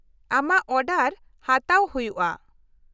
-ᱟᱢᱟᱜ ᱚᱰᱟᱨ ᱦᱟᱛᱟᱣ ᱦᱩᱭᱩᱜᱼᱟ ᱾